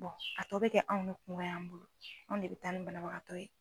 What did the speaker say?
a tɔ bɛ kɛ anw ka kungo y'an bolo anw de bɛ taa ni banabagatɔ ye.